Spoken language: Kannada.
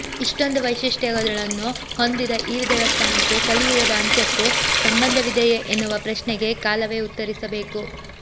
ಇಷ್ಟೊಂದು ವೈಶಿಷ್ಟ್ಯತೆಗಳನ್ನು ಹೊಂದಿದ ಈ ದೇವಸ್ಥಾನಕ್ಕೆ ಕಲಿಯುಗದ ಅಂತ್ಯಕ್ಕೂ ಸಂಬಂಧವಿದೆಯೇ ಎನ್ನುವ ಪ್ರಶ್ನೆಗೆ ಕಾಲವೇ ಉತ್ತರಿಸಬೇಕು